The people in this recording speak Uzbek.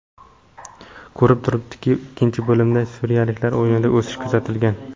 Ko‘rinib turibdiki, ikkinchi bo‘limda suriyaliklar o‘yinida o‘sish kuzatilgan.